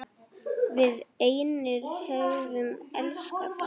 Við einir höfum elskað það.